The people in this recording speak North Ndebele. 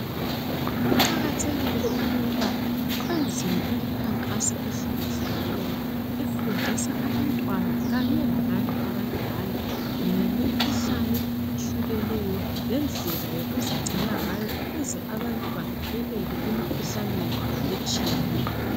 kuqakathekile ukuba kwenziwe imikhankaso ehlukehlukeneyo efundisa abantwana kanye labantu abadala ngemikhuhlane ehlukeneyo lendlela yokuzigcina ngayo ukuze abantu bavikeleke emikhuhlaneni etshiyeneyo